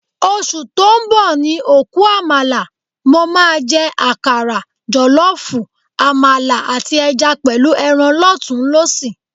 Oṣù tó ń bọ̀ ni òkú àmàlà. Mo máa jẹ àkàrà, jọ̀lọ́ọ̀fọ̀, àmàlà, àti ẹja pẹ̀lú ẹran lọ́tùnún-lósì